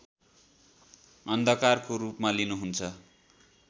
अन्धकारको रूपमा लिनुहुन्छ